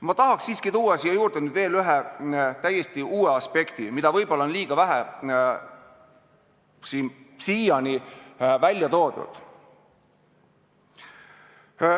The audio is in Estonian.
Ma tahaks siiski tuua siia juurde veel ühe täiesti uue aspekti, mida seni on võib-olla liiga vähe välja toodud.